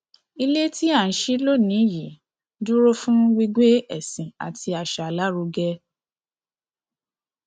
ilé tí à ń ṣí lónìí yìí dúró fún gbígbé ẹsìn àti àṣà lárugẹ